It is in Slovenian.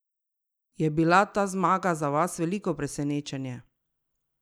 Je bila ta zmaga za vas veliko presenečenje?